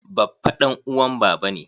Baffa ɗan uwan baba ne.